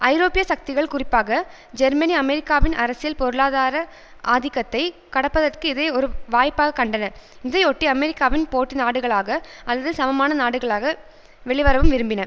ஐரோப்பிய சக்திகள் குறிப்பாக ஜெர்மனி அமெரிக்காவின் அரசியல் பொருளாதார ஆதிக்கத்தைக் கடப்பதற்கு இதை ஒரு வாய்ப்பாக கண்டன இதையொட்டி அமெரிக்காவின் போட்டி நாடுகளாக அல்லது சமமான நாடுகளாக வெளிவரவும் விரும்பின